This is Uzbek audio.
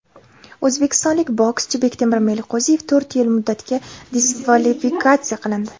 o‘zbekistonlik bokschi Bektemir Meliqo‘ziyev to‘rt yil muddatga diskvalifikatsiya qilindi.